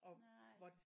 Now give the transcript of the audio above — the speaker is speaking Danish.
Nej